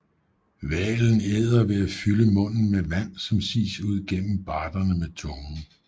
Hvalen æder ved at fylde munden med vand som sies ud gennem barderne med tungen